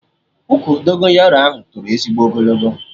Ụkwụ Dogonyaro ahụ toro ezigbo ogologo